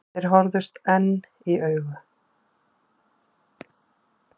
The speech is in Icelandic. Þeir horfðust enn í augu.